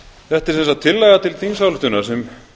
þetta er sem sagt tillaga til þingsályktunar sem